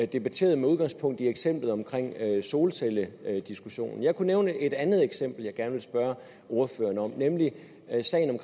debatteret med udgangspunkt i eksemplet om solcellediskussionen jeg kunne nævne et andet eksempel jeg gerne vil spørge ordføreren om nemlig